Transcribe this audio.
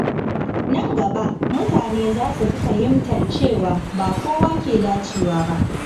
A nan gaba, mutane za su fi fahimtar cewa ba kowa ke dacewa ba.